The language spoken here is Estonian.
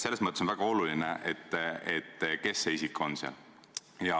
Selles mõttes on väga oluline, kes see isik on.